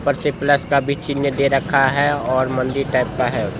ऊपर से प्लस का भी चिह्न चिन्ह दे रखा है और मंदिर टाइप का है।